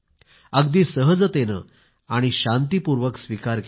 अगदी सहजतेने आणि शांतीपूर्वक स्वीकार केला